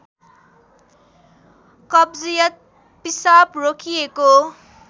कब्जियत पिसाब रोकिएको